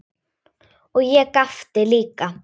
Og ég gapti líka.